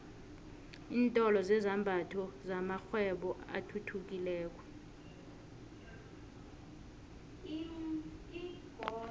iintolo zezambatho kumakghwebo athuthukileko